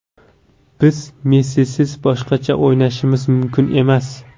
Biz Messisiz boshqacha o‘ynashimiz mumkin emas.